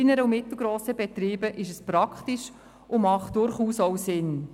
In KMU ist dies praktisch und durchaus sinnvoll.